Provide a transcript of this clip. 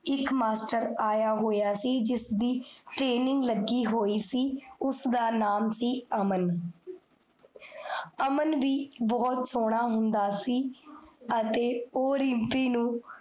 ਇਕ ਮਾਸਟਰ ਆਇਆ ਹੋਇਆ ਸੀ ਜਿਸਦੀ training ਲੱਗੀ ਹੋਈ ਸੀ ਉਸਦਾ ਨਾਮ ਸੀ, ਅਮਨ ਅਮਨਦੀਪ ਬੋਹੋਤ ਸੋਹਨਾ ਹੁੰਦਾ ਸੀ ਅਤੇ, ਓਹ ਰਿਮ੍ਪੀ ਨੂੰ